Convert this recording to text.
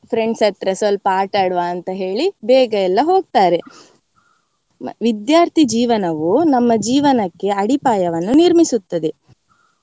Friends ಹತ್ರ ಸ್ವಲ್ಪ ಆಟ ಆಡುವ ಅಂತ ಹೇಳಿ ಬೇಗ ಎಲ್ಲಾ ಹೋಗ್ತಾರೆ. ವಿದ್ಯಾರ್ಥೀ ಜೀವನವೂ ನಮ್ಮ ಜೀವನಕ್ಕೆ ಅಡಿಪಾಯವನ್ನು ನಿರ್ಮಿಸುತ್ತದೆ.